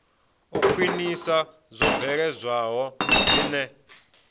u khwinisa zwo bveledzwaho zwine